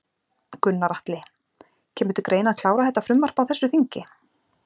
Gunnar Atli: Kemur til greina að klára þetta frumvarp á þessu þingi?